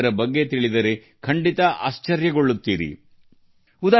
ಅವರ ಬಗ್ಗೆ ತಿಳಿದಾಗ ನಿಮಗೆ ಆಶ್ಚರ್ಯಪಡದೆ ಇರಲು ಸಾಧ್ಯವಾಗದು